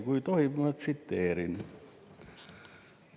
Kui tohib, ma tsiteerin.